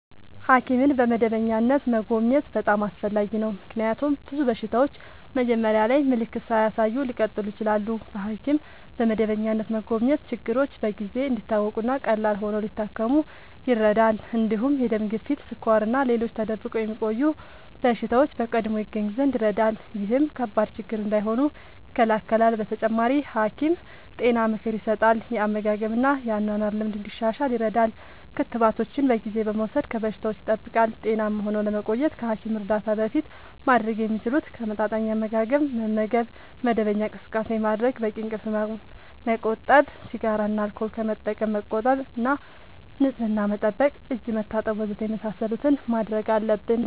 ሐኪምን በመደበኛነት መጎብኘት በጣም አስፈላጊ ነው፤ ምክንያቱም ብዙ በሽታዎች መጀመሪያ ላይ ምልክት ሳያሳዩ ሊቀጥሉ ይችላሉ። በሐኪም በመደበኛነት መጎብኘት ችግሮች በጊዜ እንዲታወቁ እና ቀላል ሆነው ሊታከሙ ይረዳል። እንዲሁም የደም ግፊት፣ ስኳር እና ሌሎች ተደብቆ የሚቆዩ በሽታዎች በቀድሞ ይገኙ ዘንድ ይረዳል። ይህም ከባድ ችግር እንዳይሆኑ ይከላከላል። በተጨማሪ፣ ሐኪም ጤና ምክር ይሰጣል፣ የአመጋገብ እና የአኗኗር ልምድ እንዲሻሻል ይረዳል። ክትባቶችን በጊዜ በመውሰድ ከበሽታዎች ይጠብቃል። ጤናማ ሆነው ለመቆየት ከሐኪም እርዳታ በፊት ማድረግ የሚችሉት፦ ተመጣጣኝ አመጋገብ መመገብ፣ መደበኛ እንቅስቃሴ ማድረግ፣ በቂ እንቅልፍ ማመቆጠብ፣ ሲጋራ እና አልኮል ከመጠቀም መቆጠብ እና ንጽህና መጠበቅ (እጅ መታጠብ ወዘተ) የመሳሰሉትን ማድረግ አለብን።